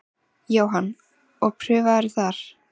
Jóhann: Og prufaðirðu þar?